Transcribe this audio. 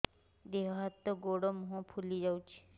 ଦେହ ହାତ ଗୋଡୋ ମୁହଁ ଫୁଲି ଯାଉଛି